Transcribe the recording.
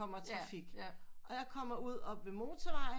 Kommer trafik og jeg kommer ud oppe ved motervejen